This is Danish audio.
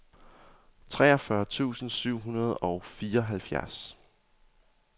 treogfyrre tusind syv hundrede og fireoghalvfjerds